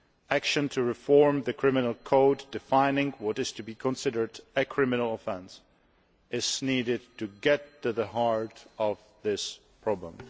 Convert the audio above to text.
Action to reform the Criminal Code, defining what is to be considered a criminal offence, is needed to get to the heart of this problem.